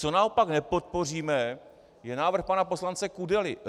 Co naopak nepodpoříme, je návrh pana poslance Kudely.